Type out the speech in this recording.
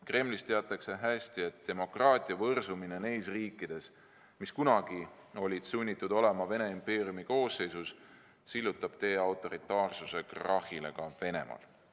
Kremlis teatakse hästi, et demokraatia võrsumine neis riikides, mis kunagi olid sunnitud olema Vene impeeriumi koosseisus, sillutab teed autoritaarsuse krahhile ka Venemaal.